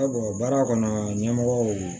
baara kɔnɔ ɲɛmɔgɔw